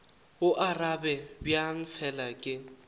go arabe bjang fela ke